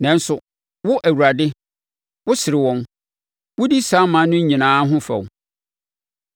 Nanso, wo Awurade, wosere wɔn; wodi saa aman no nyinaa ho fɛw.